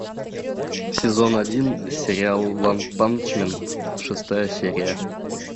сезон один сериал ванпанчмен шестая серия